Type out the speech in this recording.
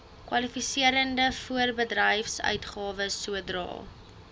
kwalifiserende voorbedryfsuitgawes sodra